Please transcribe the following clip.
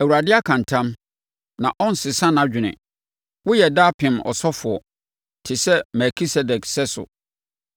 Awurade aka ntam na ɔrensesa nʼadwene: “Woyɛ daapem ɔsɔfoɔ te sɛ Melkisedek sɛso.”